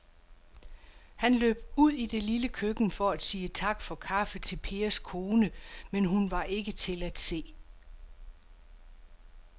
Han løb ud i det lille køkken for at sige tak for kaffe til Pers kone, men hun var ikke til at se.